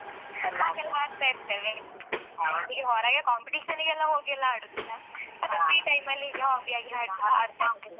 ಹಾಗೆಲ್ಲ ಆಡ್ತಾ ಇರ್ತೇವೆ ಹೀಗೆ ಹೊರಗೆ competition ನಿಗೆಲ್ಲ ಹೋಗಿ ಎಲ್ಲ ಆಡುದಿಲ್ಲ ಅದೇ free time ಅಲ್ಲಿ ಹೀಗೆ ಹಾಗೆ ಆಡ್ತಾ ಇರುದು hobby .